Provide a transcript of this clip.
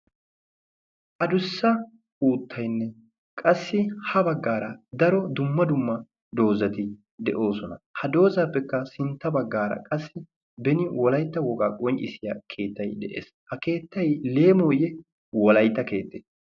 adussa uuttaynne qassi ha baggaara dumma dumma doozzay de'oosona ha doozzaappekka sintta bagaara beni wolaytta wogaa qonccisiyaa keettay de'ees ha keettay leemoye wolaytta keettee?